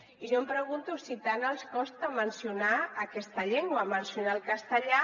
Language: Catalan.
i jo em pregunto si tant els costa mencionar aquesta llengua mencionar el castellà